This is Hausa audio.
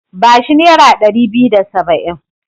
Ba shi nera ɗari biyu da saba'in.